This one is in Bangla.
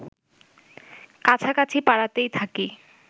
কাছাকাছি পাড়াতেই থাকি